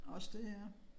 Også det ja